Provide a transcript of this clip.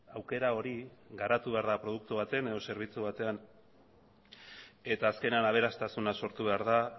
aukera hori garatu behar da produktu batean edo zerbitzu batean eta azkenean aberastasuna sortu behar da